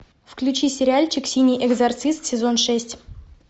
включи сериальчик синий экзорцист сезон шесть